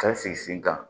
Ka sigi sen kan